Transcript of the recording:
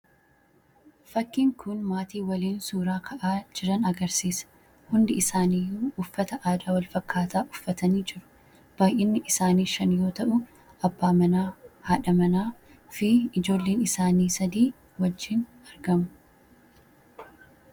fakkiin kun maatii waliin suuraa ka'aa jiran agarsiisa hundi isaanii uffata aadaa walfakkaataa uffatanii jiru baay'inni isaanii shan yoo ta'uu abbaa manaa haadha manaa fi ijoolliin isaanii sadii wajjiin argamu